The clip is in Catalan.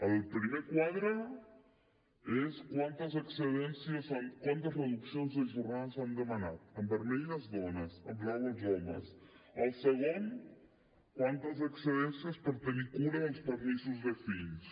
el primer quadre és quantes reduccions de jornada s’han demanat en vermell les dones en blau els homes el segon quantes excedències per tenir cura dels permisos de fills